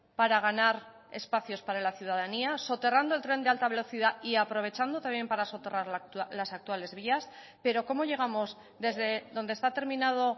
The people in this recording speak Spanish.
para ganar espacios para la ciudadanía soterrando el tren de alta velocidad y aprovechando también para soterrar las actuales vías pero cómo llegamos desde donde está terminado